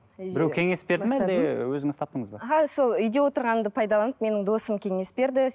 біреу кеңес берді ме әлде өзіңіз таптыңыз ба аха сол үйде отырғанымды пайдаланып менің досым кеңес берді